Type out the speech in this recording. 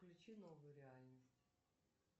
включи новую реальность